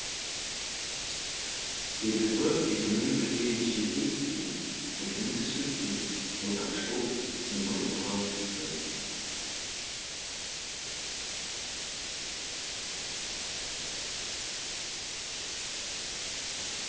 себебі желмен бірге желдей ескен еркін тіршілікке отаршыл темір бұғау түсті